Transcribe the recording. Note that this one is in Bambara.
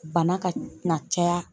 Bana ka na caya